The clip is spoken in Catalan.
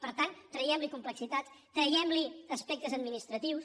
per tant traguem li complexitat traguem li aspectes administratius